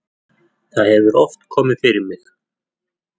það hefur oft komið fyrir mig.